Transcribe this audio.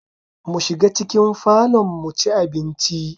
Mu shiga cikin falon muci abinci